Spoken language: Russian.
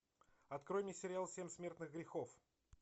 открой мне сериал семь смертных грехов